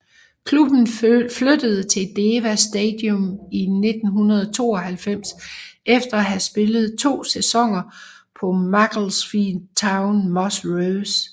Klubben flyttede til Deva Stadium i 1992 efter at have spillet to sæsoner på Macclesfield Towns Moss Rose